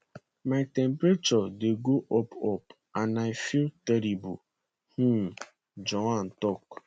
my temperature dey go up up and i feel terrible um joanne tok